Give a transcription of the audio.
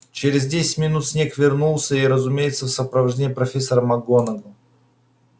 через десять минут снегг вернулся и разумеется в сопровождении профессора макгонагалл